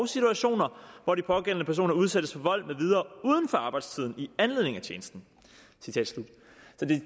situationer hvor de pågældende personer udsættes for vold med videre uden for arbejdstiden i anledning af tjenesten